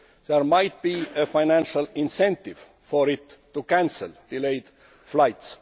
delay there might be a financial incentive for it to cancel delayed flights.